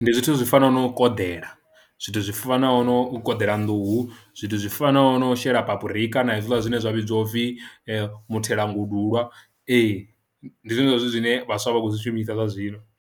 Ndi zwithu zwi fanaho no u koḓela zwithu zwi fanaho no u koḓela nḓuhu, zwithu zwi fanaho no shela papurika na hezwiḽa zwine zwa vhidziwa upfhi muthelongudulwa ee ndi zwone zwa zwithu zwine vhaswa vha khou zwi shumisa zwa zwino.